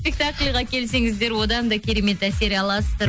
спектакльға келсеңіздер одан да керемет әсер аласыздар